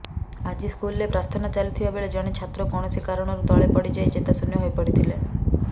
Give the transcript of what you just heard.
ଆଜି ସ୍କୁଲରେ ପ୍ରାର୍ଥନା ଚାଲିଥିବାବେଳେ ଜଣେ ଛାତ୍ର କୌଣସି କାରଣରୁ ତଳେ ପଡିଯାଇ ଚେତାଶୂନ୍ୟ ହୋଇପଡିଥିଲେ